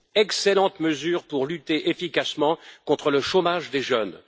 Excellente mesure pour lutter efficacement contre le chômage des jeunes.